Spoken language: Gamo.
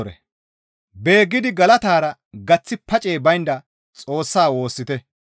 Beeggidi galatara gaththi pacey baynda Xoossaa woossite.